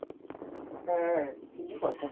হ্যাঁ ঠিকই কথা।